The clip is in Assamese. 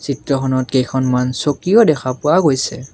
চিত্ৰখনত কেইখনমান চকীও দেখা পোৱা গৈছে।